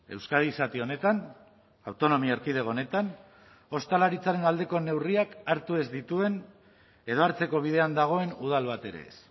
euskadi zati honetan autonomia erkidego honetan ostalaritzaren aldeko neurriak hartu ez dituen edo hartzeko bidean dagoen udal bat ere ez